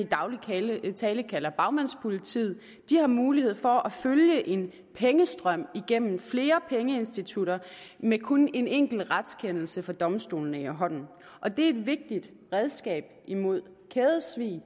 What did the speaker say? i daglig tale tale kalder bagmandspolitiet har mulighed for at følge en pengestrøm igennem flere pengeinstitutter med kun en enkelt retskendelse fra domstolene i hånden og det er et vigtigt redskab imod kædesvig